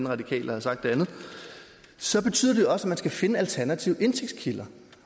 radikal der har sagt det andet så betyder det også at man skal finde alternative indtægtskilder